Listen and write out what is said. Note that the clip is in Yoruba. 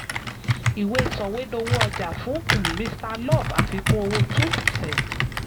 ìwé sọ̀wédowó ọjà: fún um mr love àfikún owó two percent